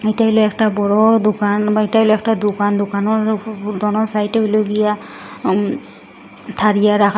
এইটা হল একটা বড় দোকান বা এইটা হল একটা দোকান দোকানোর ও দোনো সাইটে হল গিয়া আম থারিয়া রাখা।